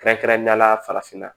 Kɛrɛnkɛrɛnnenyala farafinna